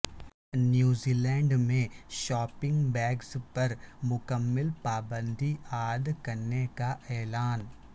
New Zealand میں shopping bags پر مکمل پابندی عائد کرنے کا اعلان